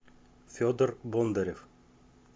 федор бондарев